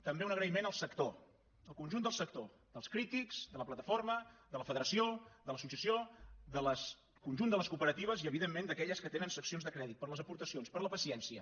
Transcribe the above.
també un agraïment al sector al conjunt del sector dels crítics de la plataforma de la federació de l’associació del conjunt de les cooperatives i evidentment d’aquelles que tenen seccions de crèdit per les aportacions per la paciència